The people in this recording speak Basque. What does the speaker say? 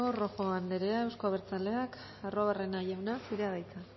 rojo andrea euzko abertzaleak arruabarrena jauna zurea da hitza